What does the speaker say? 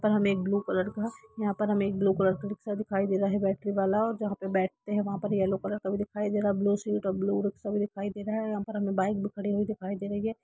तो हमे एक ब्लू कलर का यहाँ पर हमे एक ब्लू कलर का रिक्शा दिखाई दे रहा है बेटरीवाला और जहाँ पे बैठते है वहां पे येलो कलर का दिखाई दे रहा है ब्लू सीट और ब्लू रिक्क्षा दिखाई दे रहा है यहाँ पर बाइक भी खड़ी हुई दिखाई दे रही है।